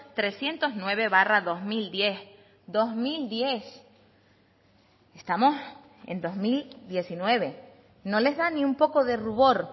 trescientos nueve barra dos mil diez dos mil diez estamos en dos mil diecinueve no les da ni un poco de rubor